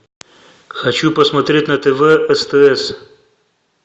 хочу посмотреть на тв стс